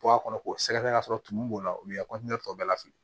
Bɔ a kɔnɔ k'o sɛgɛsɛgɛ k'a sɔrɔ tumu b'o la o y'i ka tɔ bɛɛ la fili